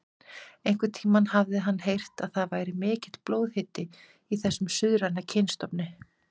Einhvern tíma hafði hann heyrt að það væri mikill blóðhiti í þessum suðræna kynstofni.